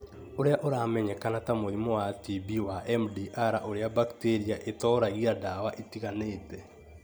ũrĩa ũramenyekana ta mũrimũ wa TB wa MDR ũrĩa bacteria itoragia ndawa itiganĩte.